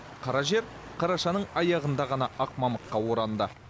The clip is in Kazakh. қара жер қарашаның аяғында ғана ақ мамыққа оранды